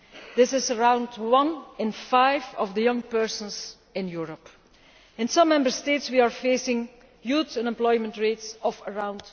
This is around one in five of young people in Europe. In some Member States we are facing youth unemployment rates of around